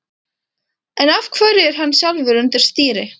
En af hverju er hann sjálfur undir stýri?